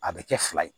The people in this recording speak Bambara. A bɛ kɛ fila ye